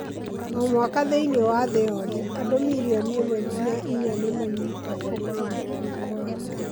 O mwaka thĩinĩ wa thĩ yothe, andũ milioni ĩmwe nginya inya nĩ manyitagwo nĩ mũrimũ wa korera.